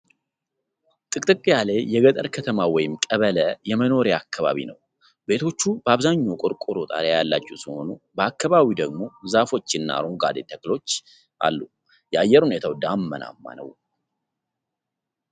ጥቅጥቅ ያለ የገጠር ከተማ ወይም ቀበሌ የመኖሪያ አካባቢ ነው ። ቤቶቹ በአብዛኛው ቆርቆሮ ጣሪያ ያላቸው ሲሆኑ ፣ በአካባቢው ደግሞ ዛፎችና አረንጓዴ ተክሎች አሉ ። የአየር ሁኔታው ዳመናማ ነው ።